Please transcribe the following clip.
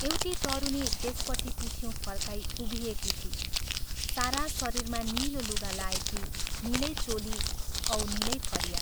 एउटी तरुणी त्यसपट्टि पिठिउँ फर्काई उभिएकी थिई सारा शरीरमा नीलो लुगा लाएकी नीलै चोली औ नीलै फरिया।